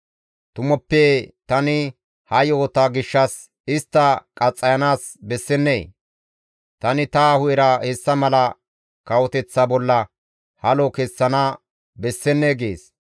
Tumuppe tani ha yo7ota gishshas istta qaxxayanaas bessennee? Tani ta hu7era hessa mala kawoteththa bolla halo kessana bessennee?» gees.